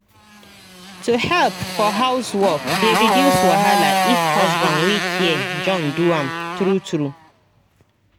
to help for housework dey reduce wahala if husband wey care join do am true true